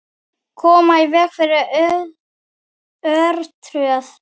Koma í veg fyrir örtröð.